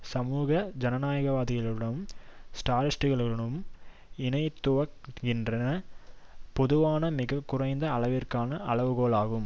சமூக ஜனநாயகவாதிகளுடனும் ஸ்ராலினிஸ்ட்டுகளுடனும் இணைத்துவைக்கின்ற பொதுவான மிக குறைந்த அளவிற்கான அளவுகோல் ஆகும்